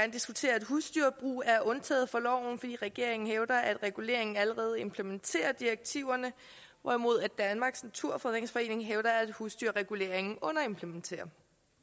husdyrbrug er undtaget fra loven fordi regeringen hævder at reguleringen allerede implementerer direktiverne hvorimod danmarks naturfredningsforening hævder at husdyrregulering underimplementerer